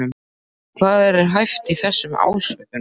En hvað er hæft í þessum ásökunum?